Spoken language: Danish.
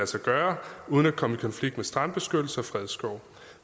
sig gøre uden at komme i konflikt med strandbeskyttelser og fredskove